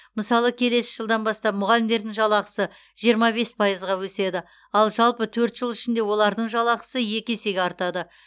мысалы келесі жылдан бастап мұғалімдердің жалақысы жиырма бес пайызға өседі ал жалпы төрт жыл ішінде олардың жалақысы екі есеге артады